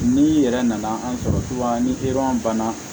N'i yɛrɛ nana an sɔrɔ ni banna